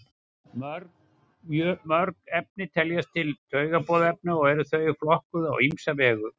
mörg efni teljast til taugaboðefna og eru þau flokkuð á ýmsa vegu